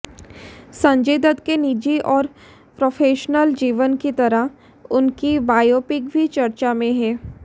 संजय दत्त के निजी और प्रोफेशनल जीवन की तरह उनकी बायोपिक भी चर्चा में हैं